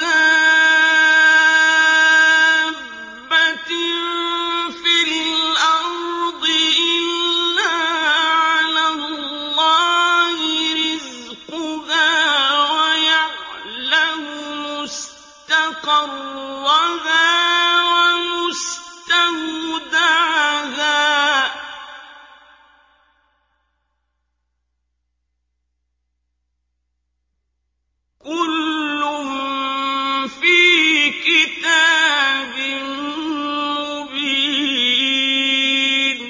دَابَّةٍ فِي الْأَرْضِ إِلَّا عَلَى اللَّهِ رِزْقُهَا وَيَعْلَمُ مُسْتَقَرَّهَا وَمُسْتَوْدَعَهَا ۚ كُلٌّ فِي كِتَابٍ مُّبِينٍ